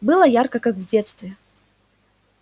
было ярко как в детстве